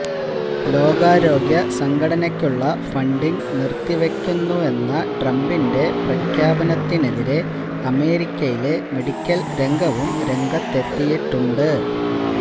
ലോകാരോഗ്യ സംഘടനയക്കുള്ള ഫണ്ടിംഗ് നിര്ത്തിവെക്കുന്നെന്ന ട്രംപിന്റെ പ്രഖ്യാപനത്തിനെതിരെ അമേരിക്കയിലെ മെഡിക്കല് രംഗവും രംഗത്തെത്തിയിട്ടുണ്ട്